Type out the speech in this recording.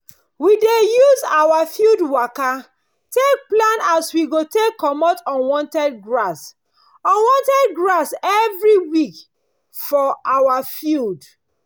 we dey use our field waka take plan as we go take comot unwanted grass unwanted grass every week for our field